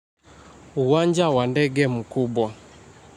Uwanja wa ndege mkubwa.